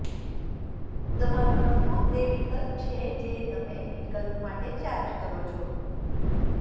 તમારો નફો તે વિકલ્પ છે જે તમે વિકલ્પ માટે ચાર્જ કરો છો